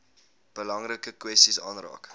belangrike kwessies aanraak